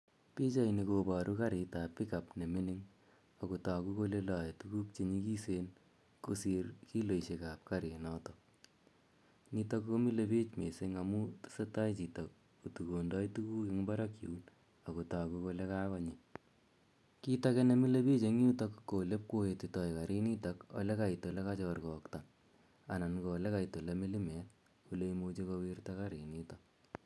Piachaini kparu karit ap pick up ne mining' ne lae tuguk che nyikisen kosir kiloishek ap karinotok. Notok ko mile piich missing' amu tese tai chito ko tukondai tuguk parqk yun ako kere kole kakonyi. Kiit age ne mile piich eng' yutok ko ole ipkowetitai karinitok ye kait ole kachorkokta anan ko ole mlimet, ole imuchi kowirta karinitok.